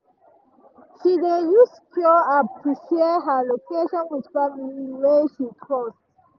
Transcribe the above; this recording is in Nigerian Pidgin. she dey use secure app to share her location with family wey she trust.